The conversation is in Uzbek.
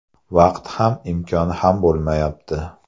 Vaqt ham, imkon ham bo‘lmayapti.